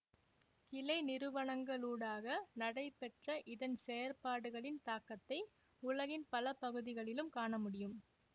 கிளை நிறுவனங்களூடாக நடைபெற்ற இதன் செயற்பாடுகளின் தாக்கத்தை உலகின் பல பகுதிகளிலும் காண முடியும்